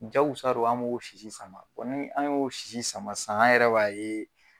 Jakusa don an b'o sisi sama ni an y'o sisi sama sisan an yɛrɛ b'a ye.